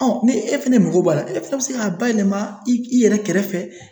ni e fɛnɛ mago b'a la, e fɛnɛ bi se ka bayɛlɛma i yɛrɛ kɛrɛfɛ.